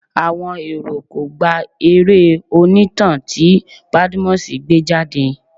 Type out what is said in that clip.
Àwọn èrò kò gba eré onítàn tí Badmus gbé jáde.